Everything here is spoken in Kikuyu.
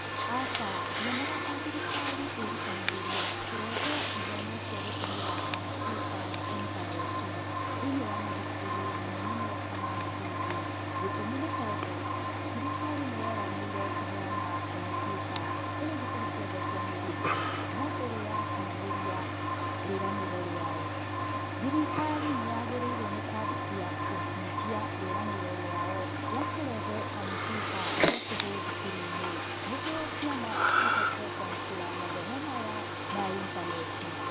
Aca ndionaga ta thirikari ĩrutanagĩria kũrehe ithomo ciagũtũmĩra kamupiuta na intaneti thĩinĩ wa mathukuru mũno mũno ta ma mũthingi. Gĩtũmi nĩtondũ thirikari nĩyeranĩire kũheana komupiuta kũrĩ thukuru ciothe cia mũthingi no ndĩrĩ yakinyanĩria rĩranĩro rĩao. Thirikari nĩyagĩrĩirwo nĩkwanjia kũhingia rĩranĩro rĩao rĩakũrehe komupiuta cia tũhũ thukuru-inĩ nĩguo ciana cihote kwamũkĩra mathomo maya ma intaneti.